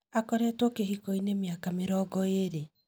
Akoretwo Kĩhiko-inĩ mĩaka mĩrongo eerĩ.